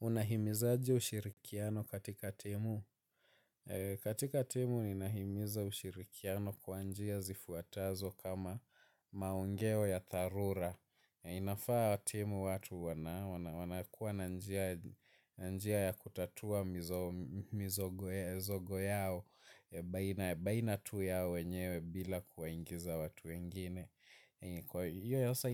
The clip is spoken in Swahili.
Unahimizaje ushirikiano katika timu? Katika timu ninahimiza ushirikiano kwa njia zifuatazo kama maongeo ya dharura. Inafaa timu watu wanakuwa na njia ya kutatua mizogo yao baina tu yao wenyewe bila kuwaingiza watu wengine. Kwa hiyo hasa